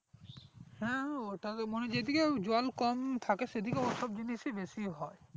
হ্যাঁ ওটাও তো মানে যেদিকে জল কম থাকে সেদিকে ওসব জিনিসই বেশি হয়